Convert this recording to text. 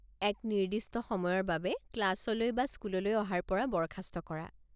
এক নিৰ্দিষ্ট সময়ৰ বাবে ক্লাছলৈ বা স্কুললৈ অহাৰ পৰা বৰ্খাস্ত কৰা।